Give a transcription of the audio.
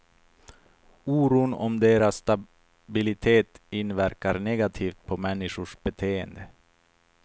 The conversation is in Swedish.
Oron om deras stabilitet inverkar negativt på människors beteende.